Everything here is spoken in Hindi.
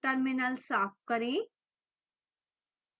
terminal साफ करें